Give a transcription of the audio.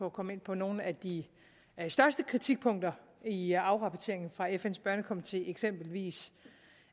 at komme ind på nogle af de største kritikpunkter i afrapporteringen fra fn’s børnekomité eksempelvis